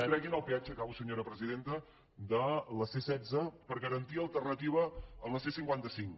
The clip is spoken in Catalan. treguin el peatge acabo senyora presidenta de la c setze per garantir alternativa a la c cinquanta cinc